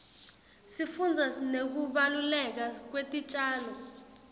sifundza nekubaluleka kwetitjalo